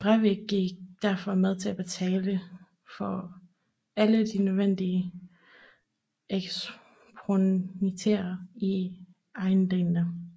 Brevik gik derfor med til at betale for alle de nødvendige ekspropriationer i Eidanger